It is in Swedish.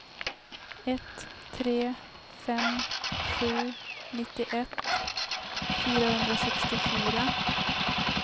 ett tre fem sju nittioett fyrahundrasextiofyra